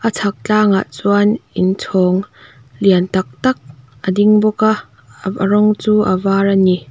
chhak tlangah chuan inchhawng lian tak tak a ding bawka a a rawng chu a var ani.